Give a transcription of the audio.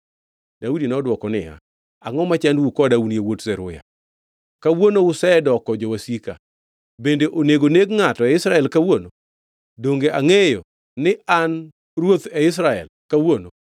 Daudi nodwoko niya, “Angʼo machandou koda un yawuot Zeruya? Kawuono usedoko jowasika! Bende onego neg ngʼato e Israel kawuono? Donge angʼeyo ni an ruoth e Israel kawuono?”